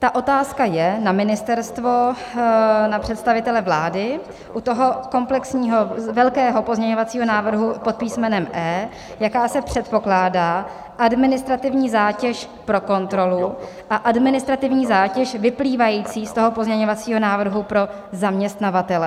Ta otázka je na ministerstvo, na představitele vlády, u toho komplexního velkého pozměňovacího návrhu pod písmenem E, jaká se předpokládá administrativní zátěž pro kontrolu a administrativní zátěž vyplývající z toho pozměňovacího návrhu pro zaměstnavatele.